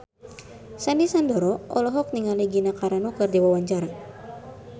Sandy Sandoro olohok ningali Gina Carano keur diwawancara